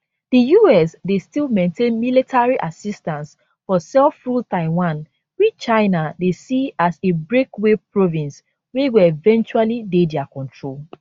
di us dey still maintain military assistance for selfruled taiwan which china dey see as a breakaway province wey go eventually dey dia control